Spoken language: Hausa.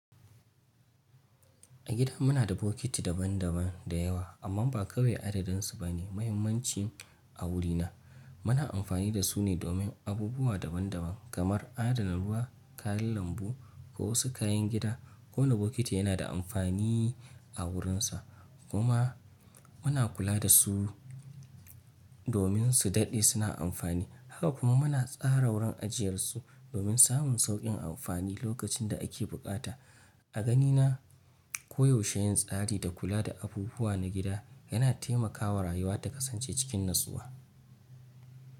A gida muna da bokiti daban-daban da yawa amma ba kawai adadin su bane mahimmanci a wurina. Muna amfani da su ne domin abubuwa daban-daban kamar adana ruwa, kayan lambu ko wasu kayan gida. Kowane bokiti yana da amfani a wurinsa kuma muna kula da su domin su daɗe suna amfani. Haka kuma muna tsara wurin ajiyarsu domin samun sauƙin amfani lokacin da ake buƙata. A ganina koyaushe yin tsari da kula da abubuwa na gida yana taimakawa rayuwa ta kasance cikin natsuwa.